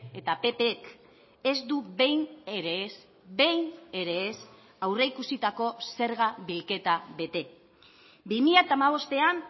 eta ppk ez du behin ere ez behin ere ez aurreikusitako zerga bilketa bete bi mila hamabostean